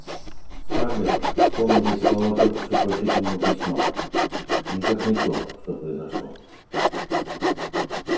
скарлетт вспомнились слова только что прочитанного письма никак не то что произошло